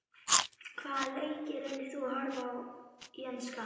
Hvaða leiki reynir þú að horfa á í enska?